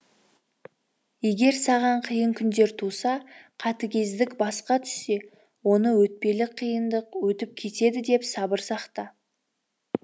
егер саған қиын күндер туса қатыгездік басқа түссе оны өтпелі қиындық өтіп кетеді деп сабыр сақта